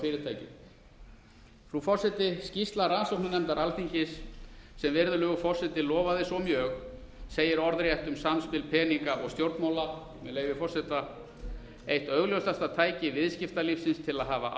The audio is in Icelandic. fyrirtækjum frú forseti skýrsla rannsóknarnefndar alþingis sem virðulegur forseti lofaði svo mjög segir orðrétt um samspil peninga og stjórnmála með leyfi forseta eitt augljósasta tæki viðskiptalífsins til að hafa